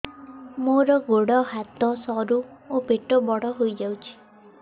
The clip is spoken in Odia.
ମୋର ଗୋଡ ହାତ ସରୁ ଏବଂ ପେଟ ବଡ଼ ହୋଇଯାଇଛି